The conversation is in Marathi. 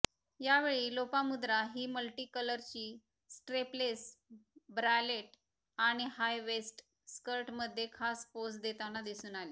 यावेळी लोपामुद्रा ही मल्टीकलरची स्ट्रेपलेस ब्रालेट आणि हाय वेस्ट स्कर्टमध्ये खास पोझ देताना दिसून आली